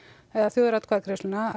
þjóðaratkvæðagreiðsluna